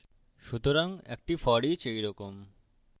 সুতরাং একটি foreach এই রকম